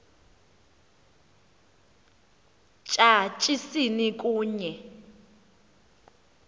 tya tyasini kunye